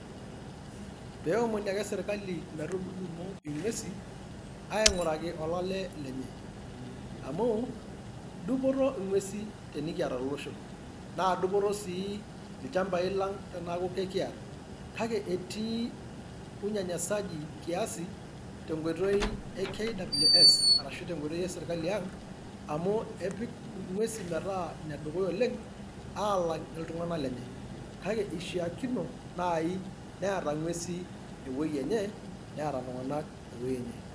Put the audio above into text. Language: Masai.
Peewomoni ake serkali metudumu ing'uesi aing'oraki olale lenye, amu dupoto ing'uesi tenikiata tolosho, naa dupoto sii ilchambai lang' teneeku kekiyata, kake etii unyanyasaji kiasi tenkoitoi e KWS arashu tenkoitoi eserkali ang' amu epik ng'uesi metaa inedukuya oleng' aalang' iltung'anak lenye kake eishiakino naai neeta ng'uesi ewueji enye neeta iltung'anak ewueji enye.